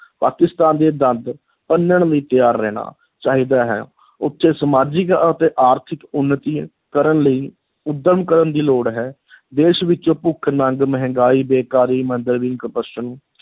ਪਾਕਿਸਤਾਨ ਦੇ ਦੰਦ ਭੰਨਣ ਲਈ ਤਿਆਰ ਰਹਿਣਾ ਚਾਹੀਦਾ ਹੈ ਉੱਥੇ ਸਮਾਜਿਕ ਅਤੇ ਆਰਥਿਕ ਉੱਨਤੀ ਕਰਨ ਲਈ ਉੱਦਮ ਕਰਨ ਦੀ ਲੋੜ ਹੈ ਦੇਸ਼ ਵਿੱਚੋਂ ਭੁੱਖ, ਨੰਗ, ਮਹਿੰਗਾਈ, ਬੇਕਾਰੀ, ਮੰਦਹਾਲੀ corruption